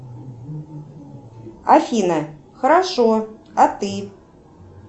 афина хорошо а ты